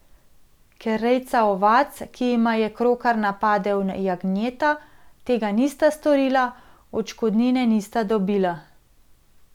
Ker rejca ovac, ki jima je krokar napadel jagnjeta, tega nista storila, odškodnine nista dobila.